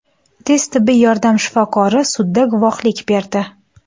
Tez tibbiy yordam shifokori sudda guvohlik berdi.